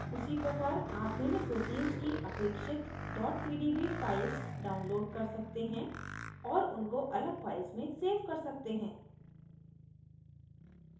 उसी प्रकार आप भिन्न proteins की अपेक्षित pdb files download कर सकते हैं और उनको अलग files में सेव कर सकते हैं